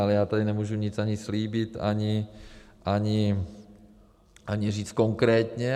Ale já tady nemůžu nic ani slíbit, ani říct konkrétně.